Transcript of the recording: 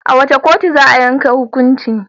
A wace kotu za a yanke hukuncin?